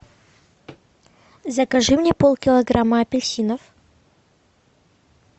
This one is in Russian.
закажи мне пол килограмма апельсинов